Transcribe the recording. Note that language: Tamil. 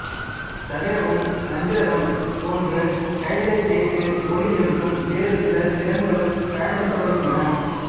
தவிரவும் வந்திரதம் போன்று கைகளைத் தேய்த்து ஒலி எழுப்பும் வேறு சில திறன்களும் பயன்படுத்தப்படுகின்றன